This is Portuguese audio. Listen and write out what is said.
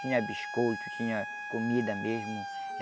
Tinha biscoito, tinha comida mesmo.